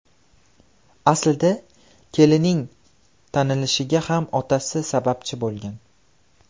Aslida Kellining tanilishiga ham otasi sababchi bo‘lgan.